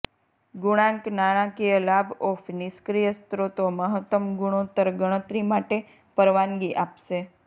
ગુણાંક નાણાકીય લાભ ઓફ નિષ્ક્રિય સ્ત્રોતો મહત્તમ ગુણોત્તર ગણતરી માટે પરવાનગી આપશે